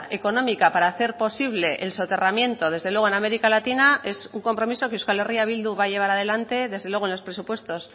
económica para hacer posible el soterramiento desde luego en américa latina es un compromiso que euskal herria bildu va a llevar adelante desde luego en los presupuestos